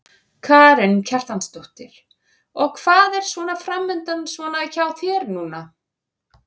Karen Kjartansdóttir: Og hvað er svona framundan svona hjá þér núna?